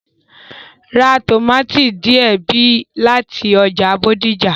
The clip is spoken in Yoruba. Ra tòmátì díẹ̀ bí láti ọjà Bódìjà.